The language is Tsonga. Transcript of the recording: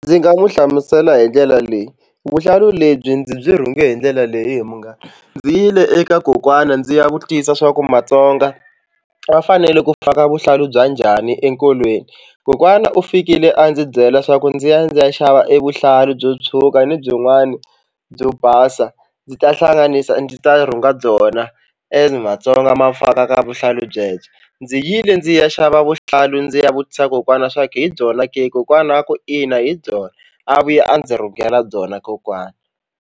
Ndzi nga n'wi hlamusela hi ndlela leyi, vuhlalu lebyi ndzi byi rhungela hi ndlela leyi he munghana ndzi yile eka kokwana ndzi ya vutisa swa ku matsonga va fanele ku faka vuhlalu bya njhani enkolweni. Kokwana u fikile a ndzi byela swa ku ndzi ya ndzi ya xava evuhlalu byo tshuka ni byin'wani byo basa ndzi ta hlanganisa ndzi ta rhunga byona as matsonga ma faka ka vuhlalu byebye. Ndzi yile ndzi ya xava vuhlalu ndzi ya vutisa kokwana swa ku hi byona ke kokwana a ku ina hi byona a vuya a ndzi rhungela byona kokwana.